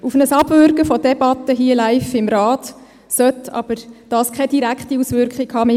Auf ein Abwürgen von Debatten, hier live im Rat, sollte dies aber keine direkte Auswirkung haben.